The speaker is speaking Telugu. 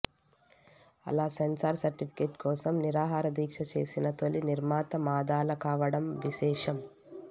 అలా సెన్సార్ సర్టిఫికేట్ కోసం నిరాహారదీక్ష చేసిన తొలి నిర్మాత మాదాల కావడం విశేషం